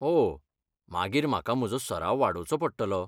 ओह, मागीर म्हाका म्हजो सराव वाडोवचो पडटलो.